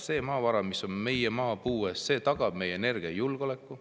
See maavara, mis on meie maapõues, tagab meie energiajulgeoleku.